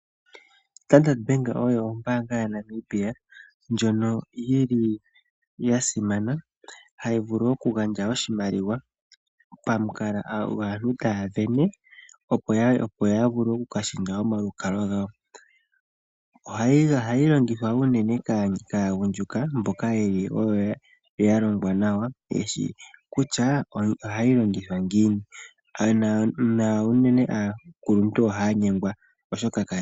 Standard Bank oyo ombaanga yaNamibia, ndjono yili yasimana hayi vulu okugandja oshimaliwa, pamukalo gwaantu taya sindana opo yavule oku lundulula omalukalwa gawo. Ohayi longithwa unene kaagundjuka mboka yeli yalongwa nawa, yeshi kutya ohayi longithwa ngiini, na unene aakuluntu ohaya nyengwa.